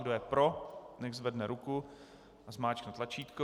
Kdo je pro, nechť zvedne ruku a zmáčkne tlačítko.